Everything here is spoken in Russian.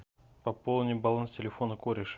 пополни баланс телефона кореш